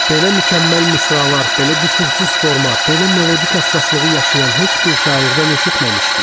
Belə mükəmməl misralar, belə qüsursuz forma, belə melodik əsasslığı yaşayan heç bir şairdən eşitməmişdik.